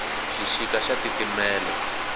xixika xa titimela